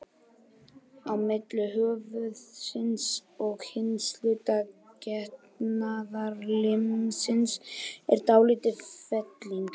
Á milli höfuðsins og hins hluta getnaðarlimsins er dálítil felling.